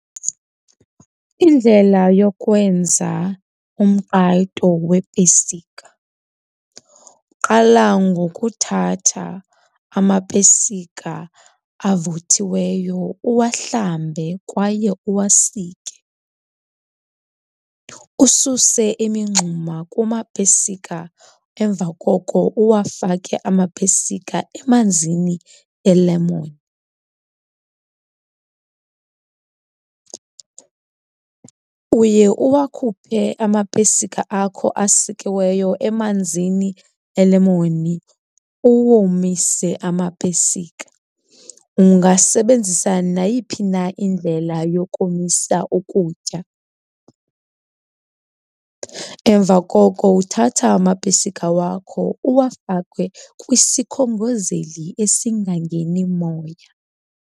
Indlela yokwenza umqwayito weepesika, uqala ngokuthatha amapesika avuthiweyo uwuhlambe kwaye uwasike, ususe imingxuma kumapesika, emva koko uwafake amapesika emanzini elemoni. Uye uwakhuphe amapesika akho asikiweyo emanzini elemoni uwomise amapesika, ungasebenzisa nayiphi na indlela yokomisa ukutya. Emva koko uthatha amapesika wakho uwafake kwisikhongozeli esingamngeni umoya.